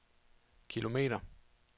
kilometer